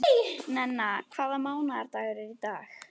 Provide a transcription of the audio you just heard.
Nenna, hvaða mánaðardagur er í dag?